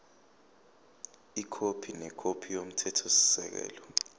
ikhophi nekhophi yomthethosisekelo